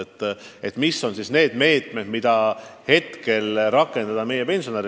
Nii tekibki küsimus, mis on siis need meetmed, mida saab kohe pensionäride huvides rakendada.